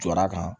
Jɔda kan